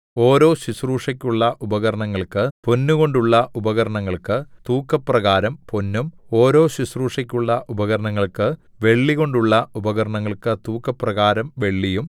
ഓരോ ശുശ്രൂഷയ്ക്കുള്ള ഉപകരണങ്ങൾക്ക് പൊന്നുകൊണ്ടുള്ള ഉപകരണങ്ങൾക്ക് തൂക്കപ്രകാരം പൊന്നും ഓരോ ശുശ്രൂഷയ്ക്കുള്ള ഉപകരണങ്ങൾക്ക് വെള്ളികൊണ്ടുള്ള ഉപകരണങ്ങൾക്ക് തൂക്കപ്രകാരം വെള്ളിയും